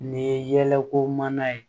Nin ye yɛlɛko mana ye